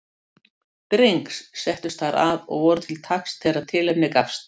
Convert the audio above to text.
Drengs, settust þar að og voru til taks þegar tilefni gafst.